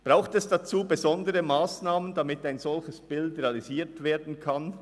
Braucht es dazu besondere Massnahmen, damit ein solches Bild realisiert werden kann?